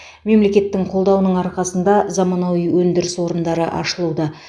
мемлекеттің қолдауының арқасында заманауи өндіріс орындары ашылуда